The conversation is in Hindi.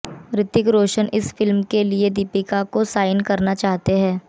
ऋतिक रोशन इस फिल्म के लिए दीपिका को साइन करना चाहते है